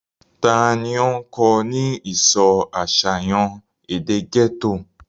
ta ni ó kọ́ ọ ní ìsọ àṣàyàn èdè gẹ́tò?